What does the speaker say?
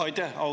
Aitäh!